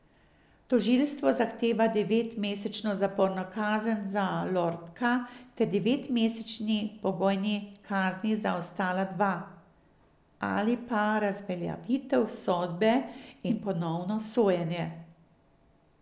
Tožilstvo zahteva devetmesečno zaporno kazen za Lorbka ter devetmesečni pogojni kazni za ostala dva, ali pa razveljavitev sodbe in ponovno sojenje.